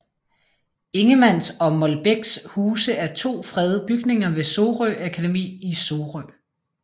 Ingemanns og Molbechs huse er to fredede bygninger ved Sorø Akademi i Sorø